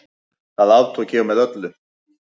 Það aftók ég með öllu.